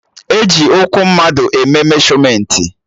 E ji ụkwụ mmadụ eme meshọmentị